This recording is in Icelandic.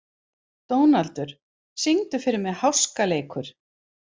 Dónaldur, syngdu fyrir mig „Háskaleikur“.